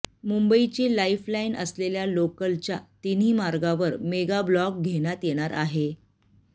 मुंबईची लाईफलाईन असलेल्या लोकलच्या तिन्ही मार्गावर मेगाब्लॉक घेण्यात येणार आहे